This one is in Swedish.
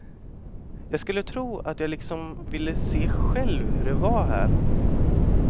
Jag skulle tro att jag liksom ville se själv hur det var här.